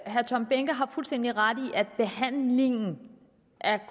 herre tom behnke har fuldstændig ret i at behandlingen